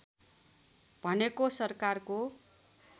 भनेको सरकारको